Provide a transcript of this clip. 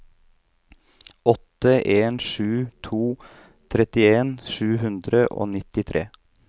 åtte en sju to trettien sju hundre og nittitre